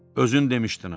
Özün demişdin axı.